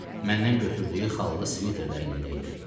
Məndən götürdüyü xallı sviter də əlində idi.